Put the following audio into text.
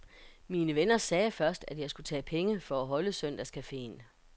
Mine venner sagde først, at jeg skulle tage penge for at holde søndagscafeen.